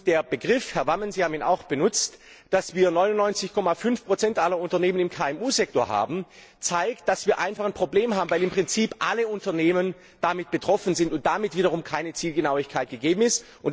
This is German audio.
Der Begriff Herr Wammen, Sie haben ihn auch benutzt dass wir 99,5 aller Unternehmen im KMU Sektor haben, zeigt, dass wir einfach ein Problem haben, weil damit im Prinzip alle Unternehmen betroffen sind und damit wiederum keine Zielgenauigkeit gegeben ist.